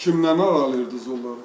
Kimdən aralayırdız onları?